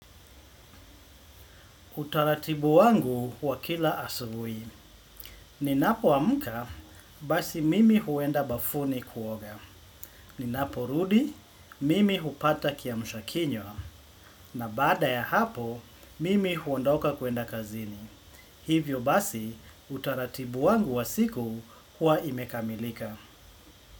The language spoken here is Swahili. Utaratibu wangu wa kila asubuhi. Ninapoamka, basi mimi huenda bafuni kuoga. Ninaporudi, mimi hupata kiamshakinywa. Na baada ya hapo, mimi huondoka kwenda kazini. Hivyo basi, utaratibu wangu wa siku huwa imekamilika.